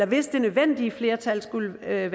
hvis det nødvendige flertal skulle være